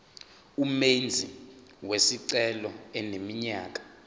umenzi wesicelo eneminyaka